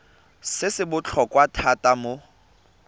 se se botlhokwa thata mo